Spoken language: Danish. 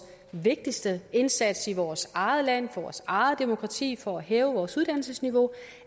vigtigste indsats i vores eget land vores eget demokrati for at hæve vores uddannelsesniveau